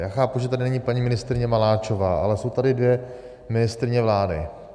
Já chápu, že tady není paní ministryně Maláčová, ale jsou tady dvě ministryně vlády.